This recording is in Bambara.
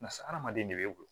Barisa hadamaden de bɛ e bolo